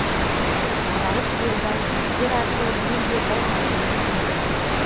аралық делдал жігіттер арқылы мен де бір әңгіме ұсындым